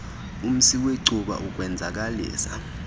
umsi wecuba ukwenzakalisa